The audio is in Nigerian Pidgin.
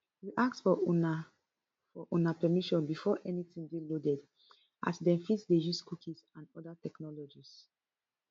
we ask for una for una permission before anytin dey loaded as dem fit dey use cookies and oda technologies